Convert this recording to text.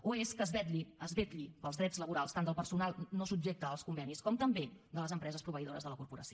o és que es vetlli pels drets laborals tant del personal no subjecte als convenis com també de les empreses proveïdores de la corporació